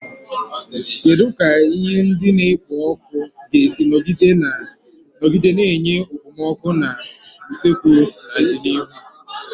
Kedu ka ihe ndị na-ekpo ọkụ ga-esi nọgide na-enye okpomọkụ na usekwu n'ọdịnihu?